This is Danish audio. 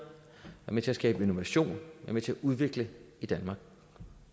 med til at skabe innovation være med til at udvikle i danmark